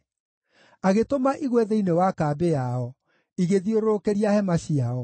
Agĩtũma igwe thĩinĩ wa kambĩ yao, igĩthiũrũrũkĩria hema ciao.